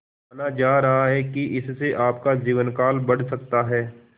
माना जा रहा है कि इससे आपका जीवनकाल बढ़ सकता है